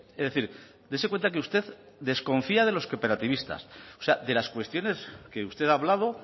es decir dese cuenta que usted desconfía de los cooperativistas o sea de las cuestiones que usted ha hablado